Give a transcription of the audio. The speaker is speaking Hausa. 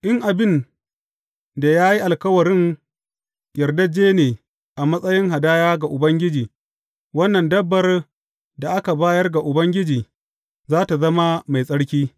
In abin da ya yi alkawarin yardajje ne a matsayin hadaya ga Ubangiji, wannan dabbar da aka bayar ga Ubangiji, za tă zama mai tsarki.